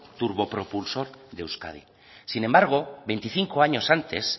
turbopropulsor de euskadi sin embargo veinticinco años antes